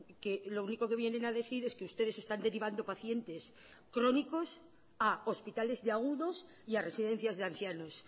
que lo único que vienen a decir es que ustedes están derivando pacientes crónicos a hospitales de agudos y a residencias de ancianos